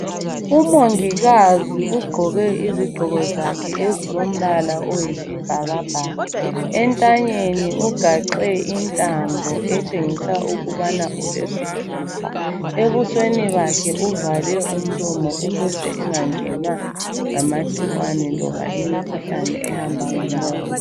Umongikazi ugqoke izigqoko zakhe ezilombala oyisibhakabhaka. Entanyeni ugaxe intambo etshengisa ukubana ulesithupha. Ebusweni bakhe uvale umlomo ukuze enganenwa ngamagcikwane loba imikhuhlane ehamba ngomoya.